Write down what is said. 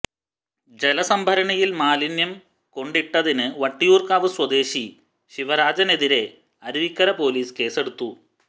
ജലസംഭരണിയിൽ മാലിന്യം കൊണ്ടിട്ടതിന് വട്ടിയൂർക്കാവ് സ്വദേശി ശിവരാജനെതിരേ അരുവിക്കര പോലീസ് കേസെടുത്തു